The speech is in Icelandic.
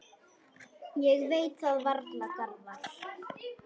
Ég veit það varla, Garðar.